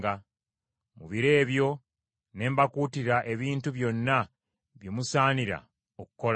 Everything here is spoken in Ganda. Mu biro ebyo ne mbakuutira ebintu byonna bye musaanira okukolanga.”